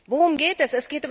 Worum geht es?